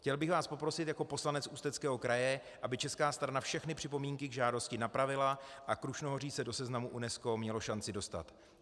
Chtěl bych vás poprosit jako poslanec Ústeckého kraje, aby česká strana všechny připomínky k žádosti napravila a Krušnohoří se do seznamu UNESCO mělo šanci dostat.